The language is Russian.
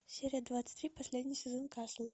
серия двадцать три последний сезон касл